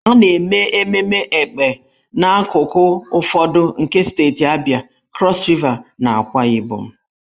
A na-eme ememme Èkpè n'akụkụ ụfọdụ nke steeti Abịa, Krọs Riva, na Akwa Ibom.